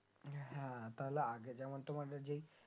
হ্যাঁ তাহলে আগে যেমন তোমাদের যে